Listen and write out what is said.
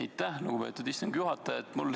Aitäh, lugupeetud istungi juhataja!